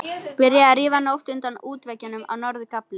Byrjað að rífa mót utan af útveggjum á norður gafli.